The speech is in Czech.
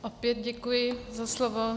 Opět děkuji za slovo.